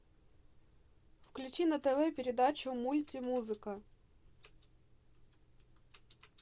включи на тв передачу мульти музыка